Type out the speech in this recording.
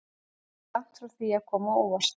Þetta er langt frá því að koma á óvart.